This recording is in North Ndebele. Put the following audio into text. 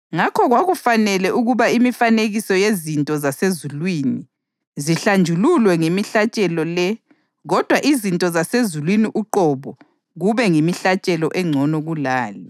Ngakho kwakufanele ukuba imifanekiso yezinto zasezulwini zihlanjululwe ngemihlatshelo le kodwa izinto zasezulwini uqobo kube ngemihlatshelo engcono kulale.